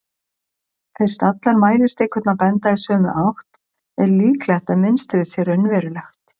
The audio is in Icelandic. fyrst allar mælistikurnar benda í sömu átt er líklegt að mynstrið sé raunverulegt